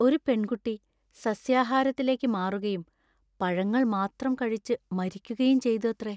ഒരു പെൺകുട്ടി സസ്യാഹാരത്തിലേക്ക് മാറുകയും പഴങ്ങൾ മാത്രം കഴിച്ച് മരിക്കുകയും ചെയ്തു അത്രേ.